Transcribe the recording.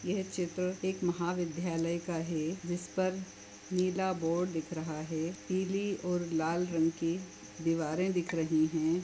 यह चित्र एक महाविद्यालय का है जिसपर नीला बोर्ड दिख रहा है पिली और लाल रंग की दीवारे दिख रही है।